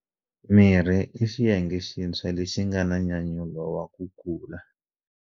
Mirhi i xiyenge xintshwa lexi nga na nyanyulo wa ku kula.